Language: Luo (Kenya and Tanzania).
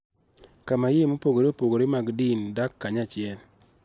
Kama yie mopogore opogore mag din dak kanyachiel